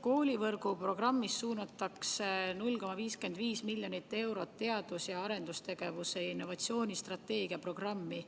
Koolivõrgu programmist suunatakse 0,55 miljonit eurot teadus- ja arendustegevuse ja innovatsiooni strateegia programmi